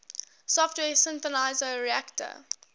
software synthesizer reaktor